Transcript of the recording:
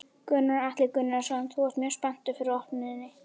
Gunnar Atli Gunnarsson: Þú ert mjög spenntur fyrir opnuninni?